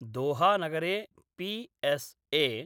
दोहानगरे PSA.